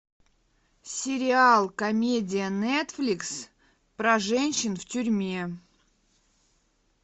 сериал комедия нетфликс про женщин в тюрьме